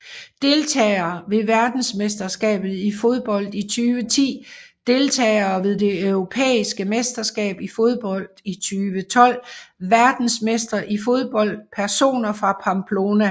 Deltagere ved verdensmesterskabet i fodbold 2010 Deltagere ved det europæiske mesterskab i fodbold 2012 Verdensmestre i fodbold Personer fra Pamplona